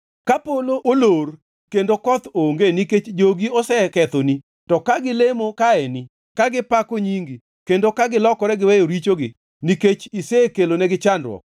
“Ka polo olor kendo koth onge nikech jogi osekethoni to ka gilemo kaeni ka gipako nyingi kendo ka gilokore giweyo richogi nikech isekelonegi chandruok,